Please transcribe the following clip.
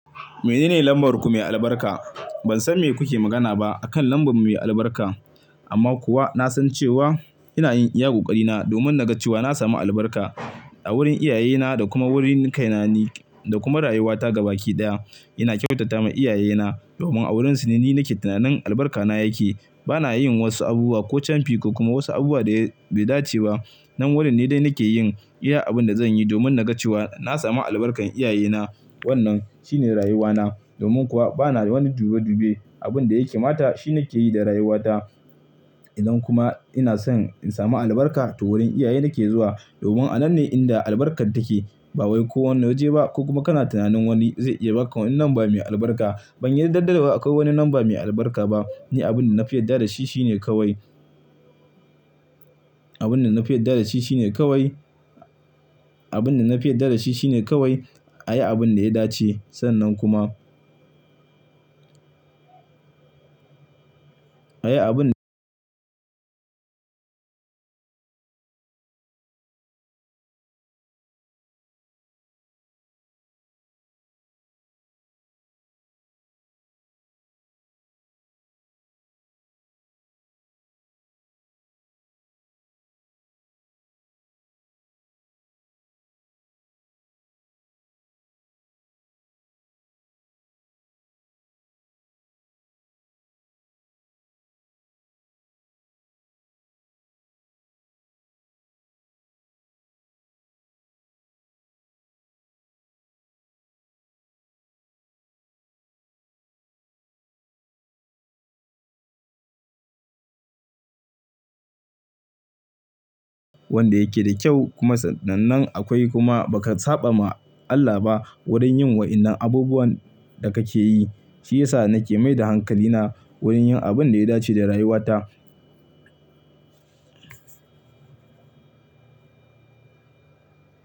Mene ne lambar ku mai albarka? Ban san me kuke magana ba akan lambar mu mai albarka amma kuwa na san cewa ina yin iya ƙoƙari na domin na ga cewa na samu albarka a wurin iyaye na da kuma wurin kai na ni da kuma rayuwa ta gaba ki ɗaya. Ina kyautata ma iyaye na domin a wurin su ne ni nake tunanin albarka na yake. Bana yin wasu abubuwa ko camfika kuma wasu abubuwa da bai dace ba. Nan wurin ne dai nake yin iya abin da zan yi domin na ga cewa na samu albarkar iyaye na. Wannan shine rayuwa na domin kuwa bana wani dube dube. Abun da ya kamata shi na ke yi da rayuwa ta. Idan kuma ina so in samu albarka, to wurin iyaye nake zuwa domin a nan ne inda albarkar take. Ba wai ko wani waje ba ko kuma kana tunanin wani zai iya baka wani lamba mai albarka. Ban yarda dawwa akwai wani lamba mai albarka ba. Ni abin da na fi yarda da shi shine kawai. Abun da na fi yarda da shi shine kawai. Abun da na fi yarda da shi shine kawai a yi abin da ya dace. Sannan kuma a yi abin wanda yake da kyau kuma sannan akwai kuma ba ka saɓa ma Allah ba wurin yin wa'yannan abubuwan da kake yi. Shi yasa nake mai da hankali na wurin yin abin da ya dace da rayuwa ta.